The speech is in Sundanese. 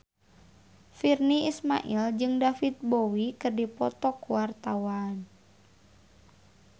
Virnie Ismail jeung David Bowie keur dipoto ku wartawan